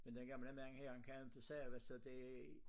Men den gamle mand her han kan inte sove så det